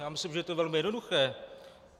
Já myslím, že je to velmi jednoduché.